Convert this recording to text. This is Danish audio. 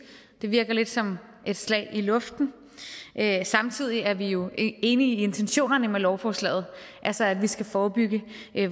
det virker lidt som et slag i luften samtidig er vi jo enige i intentionerne med lovforslaget altså at vi skal forebygge